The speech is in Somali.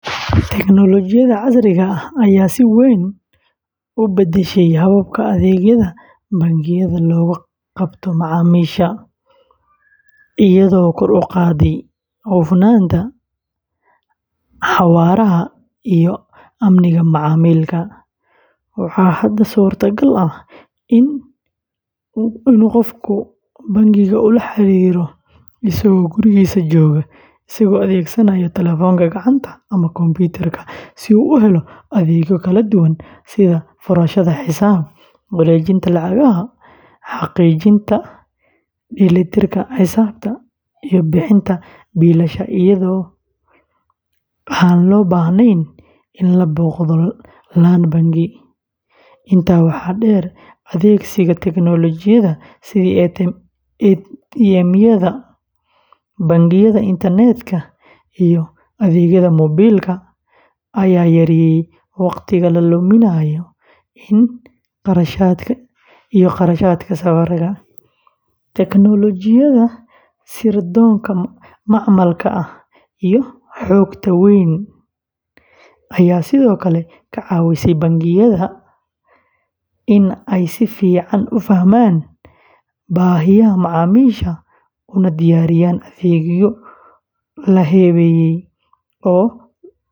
Tignoolajiyada casriga ah ayaa si weyn u beddeshay qaabka adeegyada bangiyada loogu qabto macaamiisha, iyadoo kor u qaadday hufnaanta, xawaaraha, iyo amniga macaamilka. Waxaa hadda suurtagal ah in qofku bangiga ula xiriiro isagoo gurigiisa jooga, isagoo adeegsanaya telefoonka gacanta ama kombiyuutarka si uu u helo adeegyo kala duwan sida furashada xisaab, wareejinta lacagaha, xaqiijinta dheelitirka xisaabta, iyo bixinta biilasha iyadoo aan loo baahnayn in la booqdo laan bangi. Intaa waxaa dheer, adeegsiga tignoolajiyada sida ATM-yada, bangiyada internetka, iyo adeegyada moobiilka ayaa yareeyay wakhtiga la luminayo iyo kharashaadka safarka. Tignoolajiyada sirdoonka macmalka ah iyo xogta weyn ayaa sidoo kale ka caawisay bangiyada in ay si fiican u fahmaan baahiyaha macaamiisha una diyaariyaan adeegyo la habeeyey.